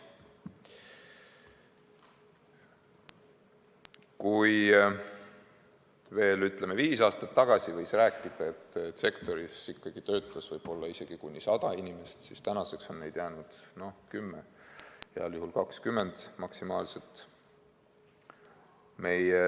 Kui veel, ütleme, viis aastat tagasi võis rääkida, et sektoris töötab umbes 100 inimest, siis tänaseks on neid jäänud 10, heal juhul 20 maksimaalselt.